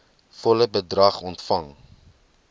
volle bedrag ontvang